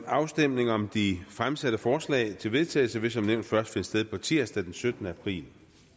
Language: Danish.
afstemningen om de fremsatte forslag til vedtagelse vil som nævnt først finde sted på tirsdag den syttende april